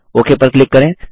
okay पर click करें